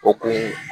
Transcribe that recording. O kun ye